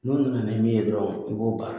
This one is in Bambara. N'U nana ni min ye dɔrɔn i b'o baara.